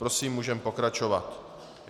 Prosím, můžeme pokračovat.